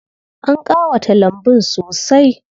An ƙawata lambun sosai.